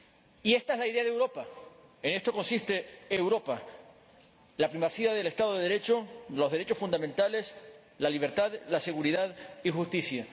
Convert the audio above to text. Y esta es la idea de Europa, en esto consiste Europa la primacía del Estado de Derecho, los derechos fundamentales, la libertad, la seguridad y la justicia